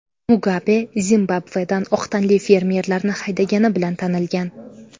Mugabe Zimbabvedan oq tanli fermerlarni haydagani bilan tanilgan.